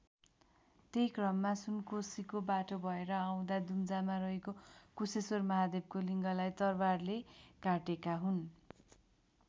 त्यही क्रममा सुनकोसीको बाटो भएर आउँदा दुम्जामा रहेको कुशेश्वर महादेवको लिङ्गलाई तरवारले काटेका हुन्।